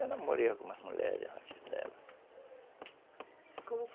Eu namorei algumas mulheres antes dela.